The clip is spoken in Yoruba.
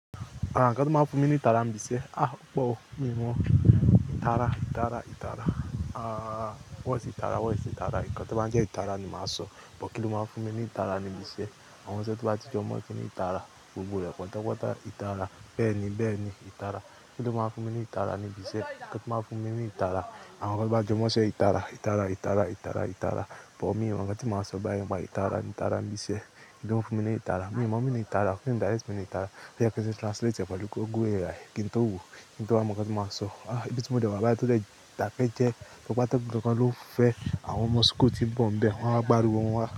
Àwọn nǹkan tí wọ́n máa ń fún mi ní ìtara ni bisẹ́. Ah! Ó pọ̀ o, mí ò mọ̀. Ìtara, ìtara, ìtara. Ah! Wọ́n sì ìtara, wọ́n sì ìtara. Nkan to bá jẹ́ ìtara ni máa sọ. Bọ kín ll máa ń fún mi ní ìtara nibi isẹ́. Àwọn iṣẹ́ to bá ti jọ mọ̀ kíni ìtara. Gbogbo rẹ̀ pátápátá ìtara. Bẹ́ẹ̀ ni, bẹ́ẹ̀ ni ìtara. Kí lo máa ń fún mi ní ìtara ni ibisẹ́. Nkan tó máa ń fún mi ní ìtara. Àwọn nkan tó bá jẹ mọṣẹ́ ìtara, ìtara, ìtara, ìtara, ìtara. Bọ mí ò mọ̀ nǹkan tí màá sọ báyi nipa ìtara ìtara ni bisẹ́. Maa fún mi ní ìtara? Mí mo meaning ìtara. Kí ni direct meaning ìtara? Bí àkọ́ṣẹ́ ṣe translate ẹ̀ paàkò gúre rẹ̀. Kí n tó wò, kí n tó wa mọ nǹkan tí màá sọ. Ah! Ibi tí mòde wà báyìí tó jẹ́ daké jẹ. Lọ pàtẹ́ gbogbo nǹkan ló ń fẹ́ àwọn ọmọ school ti bọ̀ ń bẹ. Wọ́n á gbari wọn wá.